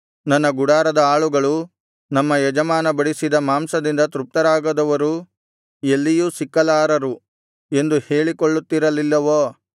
ನನ್ನ ಗುಡಾರದ ಆಳುಗಳು ನಮ್ಮ ಯಜಮಾನ ಬಡಿಸಿದ ಮಾಂಸದಿಂದ ತೃಪ್ತರಾಗದವರು ಎಲ್ಲಿಯೂ ಸಿಕ್ಕಲಾರರು ಎಂದು ಹೇಳಿಕೊಳ್ಳುತ್ತಿರಲಿಲ್ಲವೋ